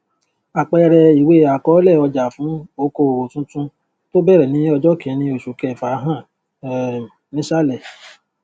àpẹẹrẹ ìwé àkọọlẹ ọjà fún okoòò tuntun tó bẹrẹ ní ọjọ kínní oṣù kẹfà hàn um nísàlẹ